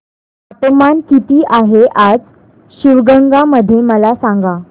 तापमान किती आहे आज शिवगंगा मध्ये मला सांगा